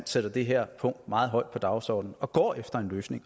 sætter det her punkt meget højt på dagsordenen og går efter en løsning